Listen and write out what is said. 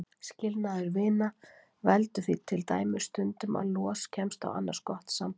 Skilnaður vina veldur því til dæmis stundum að los kemst á annars gott samband.